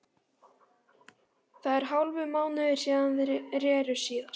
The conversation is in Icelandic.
Það er hálfur mánuður síðan þeir reru síðast.